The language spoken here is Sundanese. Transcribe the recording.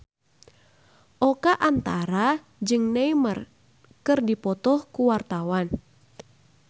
Oka Antara jeung Neymar keur dipoto ku wartawan